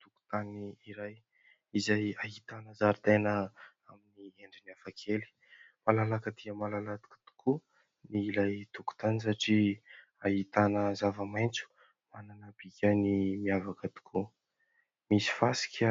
Tokotany iray izay ahitana zaridaina amin'ny endriny hafakely. Malalaka dia malalaka tokoa ny ilay tokotany satria ahitana zava-maintso manana ny bikany miavaka tokoa. Misy fasika